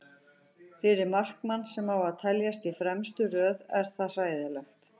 Fyrir markmann sem á að teljast í fremstu röð er það hræðilegt.